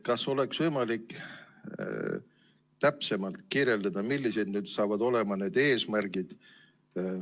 Kas oleks võimalik täpsemalt kirjeldada, millised nüüd saavad olema need eesmärgid?